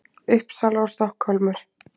Uppsala og Stokkhólmur.